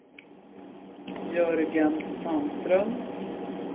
Jörgen Sandström